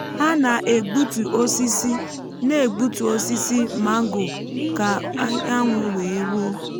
ha na-egbutu osisi na-egbutu osisi mango ka anyanwụ wee ruo.